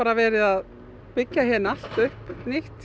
verið að byggja allt upp nýtt